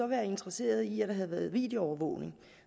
været interesseret i at der havde været videoovervågning